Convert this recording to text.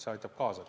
See aitab kaasa.